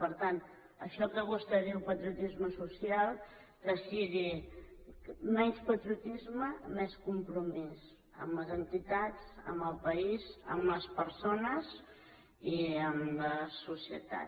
per tant això que vostè en diu patriotisme social que sigui menys patriotisme més compromís amb les entitats amb el país amb les persones i amb la societat